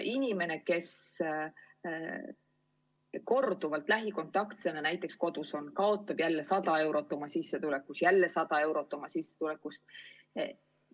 Inimene, kes korduvalt näiteks lähikontaktsena kodus on, kaotab 100 eurot oma sissetulekust ja siis jälle 100 eurot oma sissetulekust.